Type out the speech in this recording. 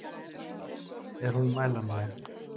Er hún mælanleg?